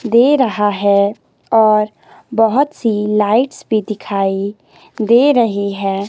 दे रहा है और बहोत सी लाइट्स भी दिखाई दे रही है।